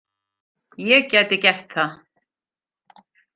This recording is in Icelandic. Ég gæti gert það.